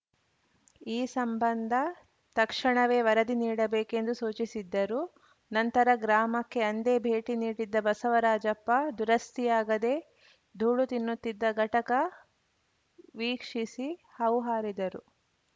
ಈ ಸಂಬಂಧ ತಕ್ಷಣವೇ ವರದಿ ನೀಡಬೇಕೆಂದು ಸೂಚಿಸಿದ್ದರು ನಂತರ ಗ್ರಾಮಕ್ಕೆ ಅಂದೇ ಭೇಟಿ ನೀಡಿದ್ದ ಬಸವರಾಜಪ್ಪ ದುರಸ್ತಿಯಾಗದೇ ಧೂಳು ತಿನ್ನುತ್ತಿದ್ದ ಘಟಕ ವೀಕ್ಷಿಸಿ ಹೌಹಾರಿದ್ದರು